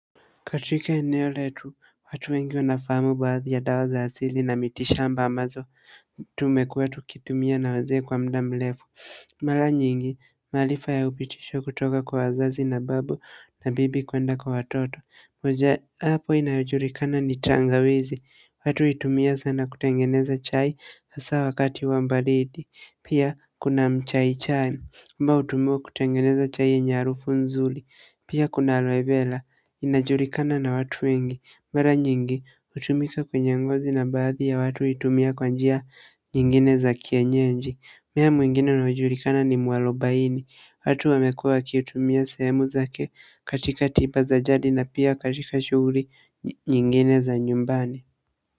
Katika eneo letu, watu wengi wanafahamu baadhi ya dawa za asili na mitishamba ambazo tumekuwa tukitumia na wazee kwa mda mrefu mara nyingi, maarifa ya upitisho kutoka kwa wazazi na babu na bibi kuenda kwa watoto moja, apo inayojulikana ni tangawizi, watu huitumia sana kutengeneza chai hasa wakati wa baridi, pia kuna mchai chai ambao hutumiwa kutengeneza chai yenye harufu nzuri, pia kuna aloe vera inajulikana na watu wengi, mara nyingi, hutumika kwenye ngozi na baadhi ya watu huitumia kwa njia nyingine za kienyeji. Mmea mwingine unaojulikana ni mwarobaini, watu wamekuwa wakiitumia sehemu zake katika tipa za jadi na pia katika shughuli nyingine za nyumbani.